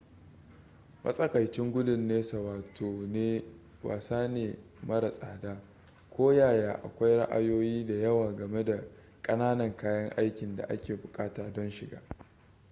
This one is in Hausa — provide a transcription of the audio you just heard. matsakaicin gudun nesa wasa ne mara tsada koyaya akwai ra'ayoyi da yawa game da ƙananan kayan aikin da ake buƙata don shiga